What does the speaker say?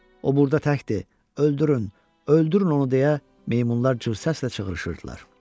O burda təkdir, öldürün, öldürün onu deyə meymunlar cığ səslə çığırışırdılar.